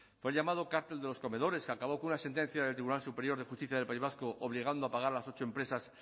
fue el llamado cártel de los comedores que acabó con una sentencia del tribunal superior de justicia del país vasco obligando a pagar a las ocho empresas